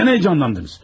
Nədən heyecanlandınız?